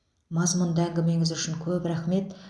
мазмұнды әңгімеңіз үшін көп рахмет